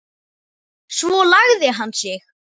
Svo lagði hann sig.